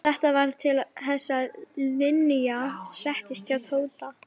Þetta varð til þess að Linja settist að hjá Tóta.